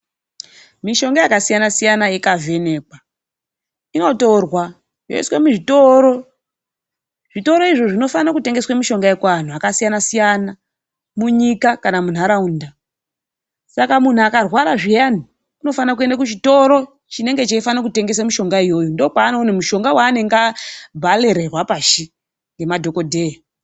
Mishonga yakasiyasiyana ikavhenekwa, inotorwa yoiswe muzvitoro. Zvitoro izvo zvinofane kutengese mushonga kuanhu akasiyasiyana, munyika kana munharaunda. Saka munhu akarwara zviyani unofana kuenda kuchitoro chinenge cheifana kutengese mishonga iyoyo. Ndookwaaonoone mushonga waabharirwa pashi ngemadhokodheya.